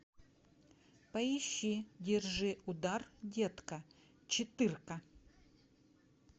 поищи держи удар детка четырка